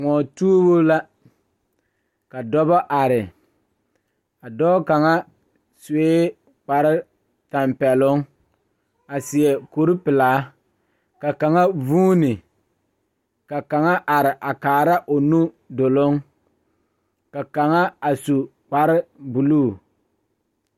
Dɔɔba bayi ane bibile kaŋa toɔ la taa kaa nensaalba are ka bamine su kpare peɛle, ka bamine su kpare ziiri ka bamine su kpare sɔglɔ ka bamine su kpare doɔre ka bamine su kpare lene lene a bogi poɔ ka sagre meŋ be a bogi poɔ.